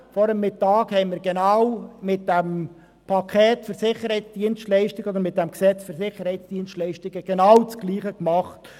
Vor dem Mittag haben wir mit dem Gesetz über das Erbringen von Sicherheitsdienstleistungen durch Private (SDPG) genau dasselbe gemacht.